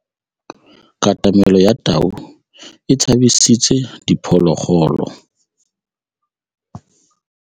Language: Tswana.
Katamêlô ya tau e tshabisitse diphôlôgôlô.